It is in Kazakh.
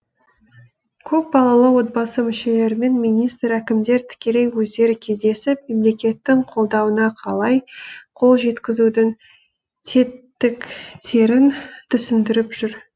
көпбалалы отбасы мүшелерімен министр әкімдер тікелей өздері кездесіп мемлекеттің қолдауына қалай қол жеткізудің тетіктерін түсіндіріп жүр